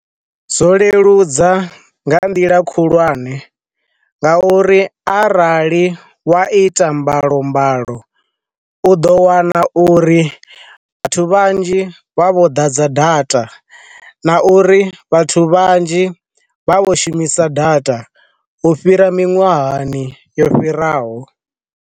Zwo leludza nga nḓila khulwane, nga uri arali wa ita mbalombalo u ḓo wana uri vhathu vhanzhi vha vho ḓadza data, na uri vhathu vhanzhi vha vho shumisa data u fhira miṅwahani yo fhiraho.